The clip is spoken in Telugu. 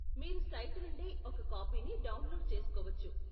మీరు సైటు నుండే ఒక కాపీని డౌన్లోడ్ చేసుకోవచ్చు.